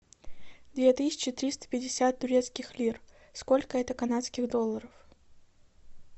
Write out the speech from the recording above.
две тысячи триста пятьдесят турецких лир сколько это канадских долларов